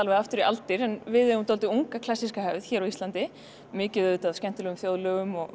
aftur í aldur en við eigum dálítið unga klassíska hefð hér á Íslandi mikið auðvitað af skemmtilegum þjóðlögum og